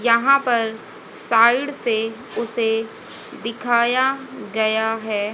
यहां पर साइड से उसे दिखाया गया है।